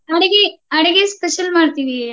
ಅಡಗಿ ಅಡಗಿ special ಮಾಡ್ತೀವಿ.